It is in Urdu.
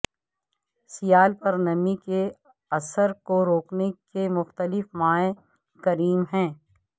سیال پر نمی کے اثر کو روکنے کے مختلف مائع کریم ہیں